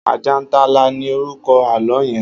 Ajàntálá ni órúkò àlõ yèn